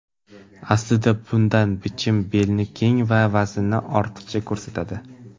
Aslida bunday bichim belni keng va vaznni ortiqcha ko‘rsatadi.